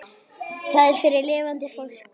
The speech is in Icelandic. Það er fyrir lifandi fólk.